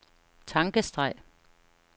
tankestreg